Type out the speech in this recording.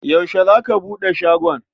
Yaushe za ka buɗe shagon?